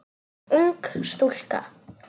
Ung stúlka.